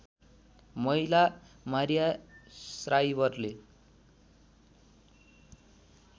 महिला मारिया श्राइवरले